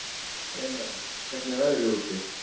Emerald, hvernig er veðrið úti?